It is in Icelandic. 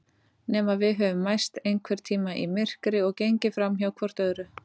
Nema við höfum mæst einhvern tíma í myrkri og gengið framhjá hvort öðru.